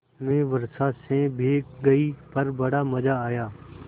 मैं वर्षा से भीग गई पर बड़ा मज़ा आया